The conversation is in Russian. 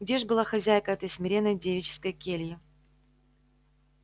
где ж была хозяйка этой смиренной девической кельи